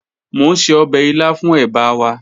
Mo n se ọbẹ ila fun eba wa